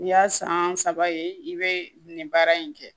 I y'a san saba ye i bɛ nin baara in kɛ